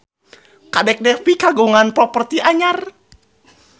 Kadek Devi kagungan properti anyar